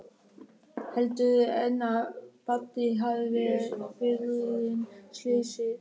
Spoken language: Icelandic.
Heldurðu enn að Baddi hafi verið viðriðinn slysið?